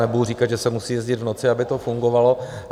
Nebudu říkat, že se musí jezdit v noci, aby to fungovalo.